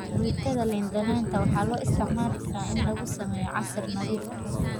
Fruitada liin dhanaanta waxaa loo isticmaali karaa in lagu sameeyo casiir nadiif ah.